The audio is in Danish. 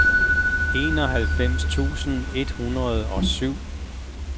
enoghalvfems tusind et hundrede og syv